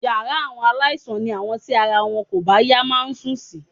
Yàrá àwọn aláìsàn ni àwọn tí ara wọn kò bá yá máa ń sùn sí